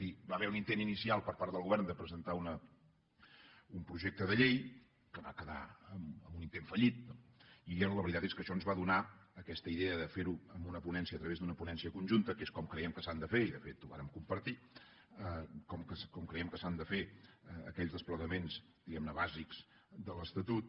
hi va haver un intent inicial per part del govern de presentar un projecte de llei que va quedar en un intent fallit no i la veritat és que això ens va donar aquesta idea de fer ho amb una ponència a través d’una ponència conjunta que és com creiem que s’han de fer i de fet ho vàrem compartir aquells desplegaments diguem ne bàsics de l’estatut